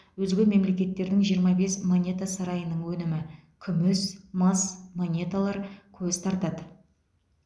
өзге мемлекеттердің жиырма бес монета сарайының өнімі күміс мыс монеталар көз тартады